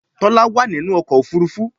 Tola wá nínú ọkọ̀ òfurufú.